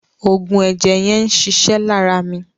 Òògùn ẹ̀jẹ̀ yẹn ń ṣiṣẹ́ lára mi.